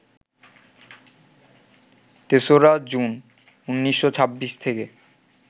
৩রা June, ১৯২৬ থেকে